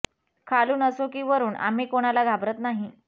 खालून असो की वरुण आम्ही कोणाला घाबरत नाही